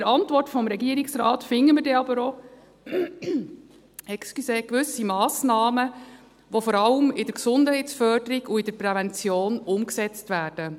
In der Antwort des Regierungsrates finden wir aber auch gewisse Massnahmen, die vor allem in der Gesundheitsförderung und in der Prävention umgesetzt werden.